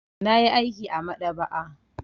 Na yi aiki a maɗaba'a.